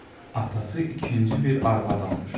Atası ikinci bir arvad almışdı.